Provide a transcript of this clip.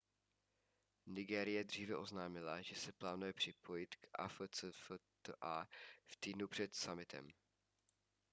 nigérie dříve oznámila že se plánuje připojit k afcfta v týdnu před summitem